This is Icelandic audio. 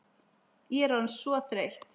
Ég er orðin svo þreytt.